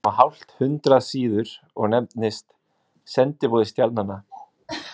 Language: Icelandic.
Það er ekki nema hálft hundrað síður og nefnist Sendiboði stjarnanna.